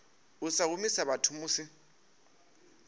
u sa humisa vhathu musi